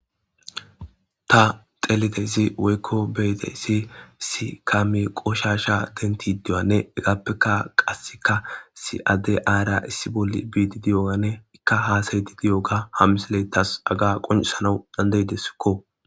Ta xelidezi woykko beyde si si kami qoshasha denti diyanne egappeka qasseka si adde aara issi bolli biidi diyogane ikka haasayyti diyoga hammisiletas aga qoncisanau dandeydeskko